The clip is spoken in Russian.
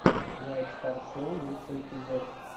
уайт стар шоу лучший эпизод